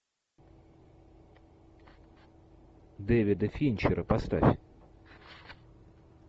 дэвида финчера поставь